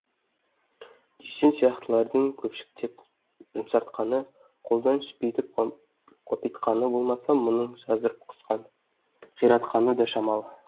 дүйсен сияқтылардың көпшіктеп жұмсартқаны қолдан сүпитіп қопитқаны болмаса мұның жазып қиратқаны да шамалы